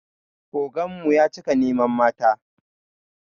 Oganmu ya cika neman mata